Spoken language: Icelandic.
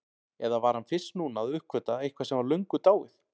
Eða var hann fyrst núna að uppgötva eitthvað sem var löngu dáið?